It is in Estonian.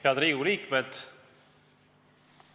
Head Riigikogu liikmed!